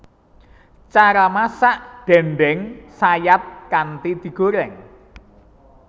Cara masak déndéng sayat kanthi digoreng